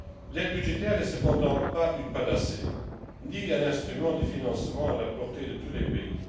L'aide budgétaire n'est cependant pas une panacée, ni un instrument de financement à la portée de tous les pays